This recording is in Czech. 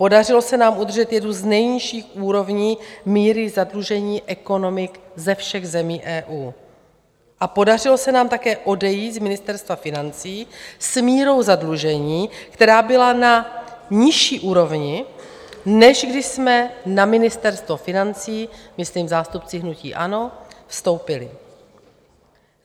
Podařilo se nám udržet jednu z nejnižších úrovní míry zadlužení ekonomik ze všech zemí EU a podařilo se nám také odejít z Ministerstva financí s mírou zadlužení, která byla na nižší úrovni, než když jsme na Ministerstvo financí - myslím zástupci hnutí ANO - vstoupili.